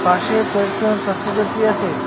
পাশে কয়েকটা ছাত্র ছাত্রী আছে।